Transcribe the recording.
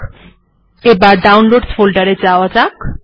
তাহলে এবার ডাউনলোডসহ ফোল্ডার এ যাওয়া যাক